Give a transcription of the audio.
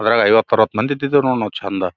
ಅದ್ರಾಗ ಐವತ್ ಅರವತ್ ಮಂದಿ ಇದ್ದಿದಿವ ನೋಡ್ ನಾವ್ ಚಂದ--